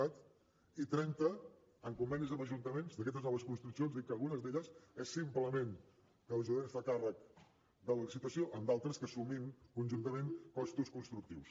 cat i trenta amb convenis amb ajuntaments d’aquestes noves construccions dir que algunes d’elles és simplement que l’ajuntament es fa càrrec de la licitació en d’altres que assumim conjuntament costos constructius